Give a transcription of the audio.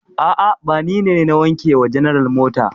A'a, ba ni ne na wanke wa general mota.